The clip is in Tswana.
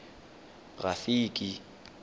rafiki